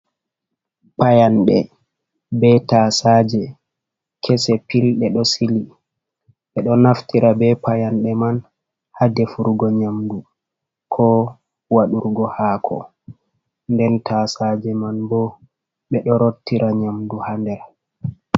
Payanɗe be tasaje kese pil ɓeɗo sili. Ɓeɗo naftira be payanɗe nyamdu ko waɗurgo haako nden tasaje man ɗeɗo sili. Ɓe do naftira be payande man ha defurgo, be ɗo rottira nyamdu ha nder.